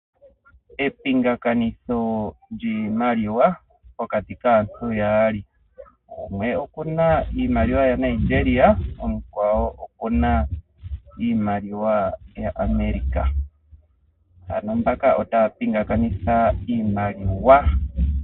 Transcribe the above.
Epingakanitho lyiimaliwa pokati kaantu yaali. Gumwe okuna iimaliwa yaNigeria omukwawo okuna iimaliwa yaAmerica. Ano mbaka otaya pingakanitha iimaliwa.